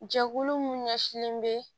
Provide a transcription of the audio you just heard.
Jɛkulu min ɲɛsinlen bɛ